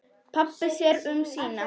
Pabbi sér um sína.